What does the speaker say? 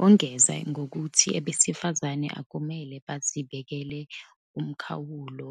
Wongeze ngokuthi abesifazane akumele bazibekele umkhawulo